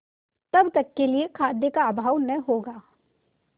तब तक के लिए खाद्य का अभाव न होगा